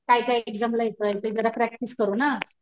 काय काय एक्साम ला येतंय ते जरा प्रॅक्टिस करू ना.